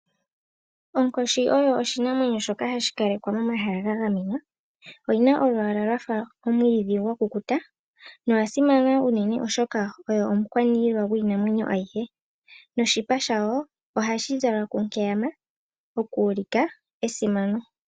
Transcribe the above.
Onkoshi oyo oshinamwenyo shoka hashi kalekwa momahala ga gamenwa. Oyina olwaala lwafa omwiidhi gwakukuta, noya simana unene oshoka oyo omukwaniilwa gwiinamwenyo ayihe, noshipa shayo ohashi zalwa ku nkeyama okuulika esimano.